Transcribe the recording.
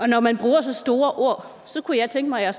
når man bruger så store ord så kunne jeg tænke mig at